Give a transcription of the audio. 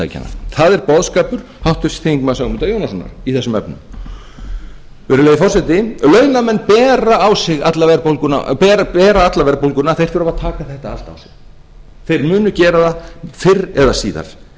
framleiðslutækjanna það er boðskapur háttvirtur þingmaður ögmundar jónassonar í þessum efnum virðulegi forseti launamenn bera alla verðbólguna þeir þurfa að taka þetta allt á sig þeir munu gera það fyrr eða síðar þeir